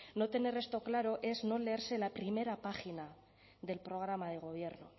no tener esto claro es no leerse la primera página del programa de gobierno